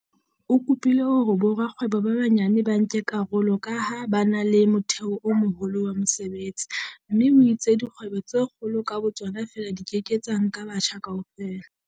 O kopile hore borakgwebo ba banyane ba nke karolo ka ha ba na le motheo o moholo wa mesebetsi mme o itse dikgwebo tse kgolo ka bo tsona feela di ke ke tsa nka batjha kaofela.